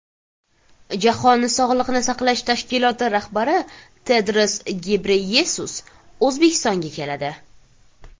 Jahon sog‘liqni saqlash tashkiloti rahbari Tedros Gebreyesus O‘zbekistonga keladi.